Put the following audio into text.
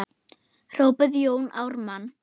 hrópaði Jón Ármann.